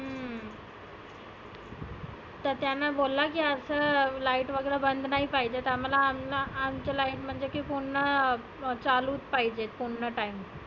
हम्म तर त्यांना बोला असं light वगैरा बंद नाही पाहिजे. तर आम्हाला हमना आमचे light ना म्हणजे की पुर्ण चालु पाहीजे. पुर्ण time